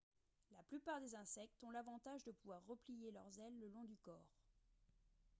la plupart des insectes ont l'avantage de pouvoir replier leurs ailes le long du corps